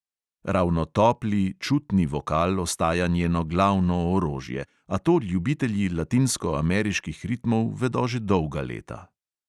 Ravno topli, čutni vokal ostaja njeno glavno orožje, a to ljubitelji latinskoameriških ritmov vedo že dolga leta.